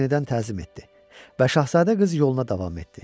O yenidən təzim etdi və şahzadə qız yoluna davam etdi.